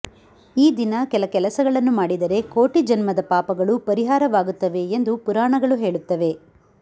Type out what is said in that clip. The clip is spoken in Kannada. ಈ ದಿನ ಕೆಲ ಕೆಲಸಗಳನ್ನು ಮಾಡಿದರೆ ಕೋಟಿ ಜನ್ಮದ ಪಾಪಗಳು ಪರಿಹಾರವಾಗುತ್ತವೆ ಎಂದು ಪುರಾಣಗಳು ಹೇಳುತ್ತವೆ